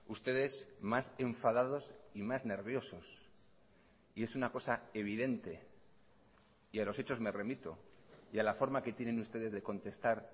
ustedes más enfadados y más nerviosos y es una cosa evidente y a los hechos me remito y a la forma que tienen ustedes de contestar